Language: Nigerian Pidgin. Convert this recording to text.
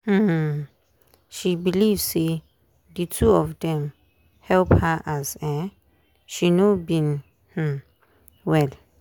um she believe say the two of dem help her as um she no been um well